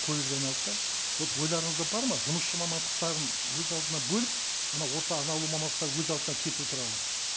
айналды да вот ойларыңызда бар ма жұмысшы мамандықтарын өз алдына бөліп ана орта арнаулы мамандықтар өз алдына кету туралы